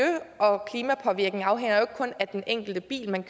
og klimapåvirkning afhænger jo ikke kun af den enkelte bil man